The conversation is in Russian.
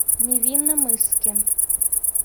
невинномысске